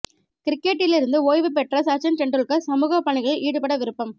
கிரிக்கெட்டில் இருந்து ஓய்வு பெற்ற சச்சின் தெண்டுல்கர் சமூக பணிகளில் ஈடுபட விருப்பம்